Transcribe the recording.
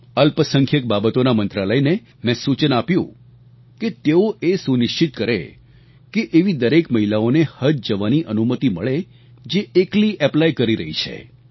અલ્પસંખ્યક બાબતોના મંત્રાલયને મેં સૂચન આપ્યું કે તેઓ એ સુનિશ્ચિત કરે કે એવી દરેક મહિલાઓને હજ જવાની અનુમતિ મળે જે એકલી એપ્લાય કરી રહી છે